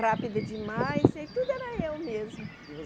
rápida demais e tudo era eu mesmo. E